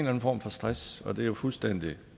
anden form for stress og det er jo fuldstændig